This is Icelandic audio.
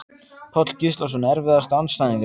Páll Gíslason Erfiðasti andstæðingur?